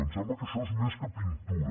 em sembla que això és més que pintura